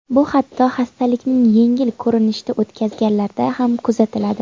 Bu hatto hastalikni yengil ko‘rinishda o‘tkazganlarda ham kuzatiladi.